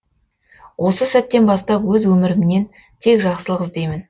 осы сәттен бастап өз өмірімнен тек жақсылық іздеймін